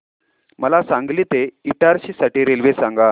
मला सांगली ते इटारसी साठी रेल्वे सांगा